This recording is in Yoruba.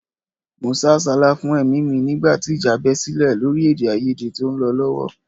Mo sá àsálà fún ẹ̀mí mi nígbà tí ìjà bẹ sílẹ̀ lórí èdèàìyedè tó ń lọ lọ́wọ́